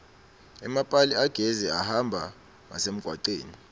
emapali agesi ahamba ngasemgwaceni